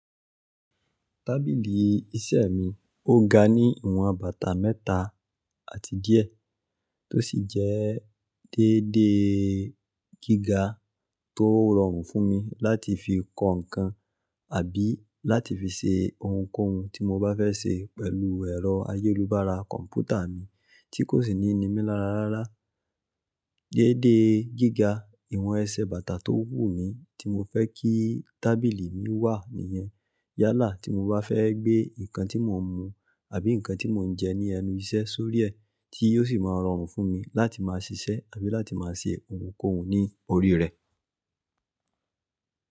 Tábìlì iṣẹ́ mi ó ga ní ìwọn bàtà mẹ́ta àti díẹ̀ tó sì jẹ́ dédé gíga tó rọrùn fún mi láti fi kọ nǹkan àbí láti fi ṣe ohunkóhun tí mo bá fẹ́ ṣe pẹ̀lú ẹ̀rọ ayélubára kọ̀m̀pútà mi tí kò sì ní nimi lára rárá. Dédé gíga ìwọn ẹsẹ̀ bàtà tó wù mí tí mo fẹ́ kí tábìlì mi wà nìyẹn yálà tí mo bá fẹ́ gbé nǹkan tí mò ń mu àbí nǹkan tí mò ń jẹ ní ẹnu iṣẹ́ sórí ẹ tí yóò sì máa rọrùn fún mi láti máa ṣiṣẹ́ àbí láti máa ṣe ohunkóhun ní orí rẹ̀.